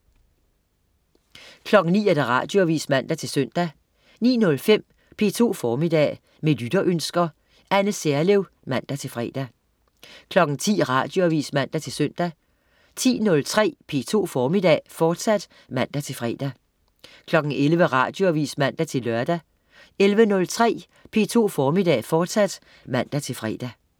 09.00 Radioavis (man-søn) 09.05 P2 Formiddag. Med lytterønsker. Anne Serlev (man-fre) 10.00 Radioavis (man-søn) 10.03 P2 Formiddag, fortsat (man-fre) 11.00 Radioavis (man-lør) 11.03 P2 Formiddag, fortsat (man-fre)